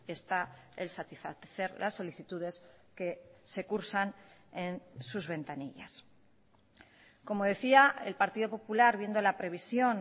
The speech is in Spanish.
está el satisfacer las solicitudes que se cursan en sus ventanillas como decía el partido popular viendo la previsión